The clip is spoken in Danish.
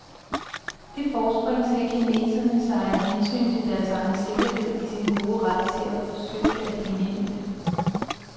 Det forspring ser kineserne sig af hensyn til deres egen sikkerhed i sin gode ret til at forsøge at indhente.